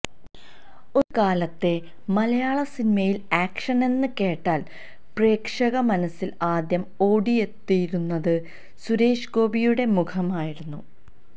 ഒരു കാലത്തെ മലയാള സിനിമയില് ആക്ഷനെന്ന് കേട്ടാല് പ്രേക്ഷക മനസ്സില് ആദ്യം ഓടിയെത്തിയിരുന്നത് സുരേഷ് ഗോപിയുടെ മുഖമായിരുന്നു